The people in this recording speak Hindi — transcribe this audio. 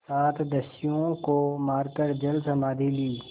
सात दस्युओं को मारकर जलसमाधि ली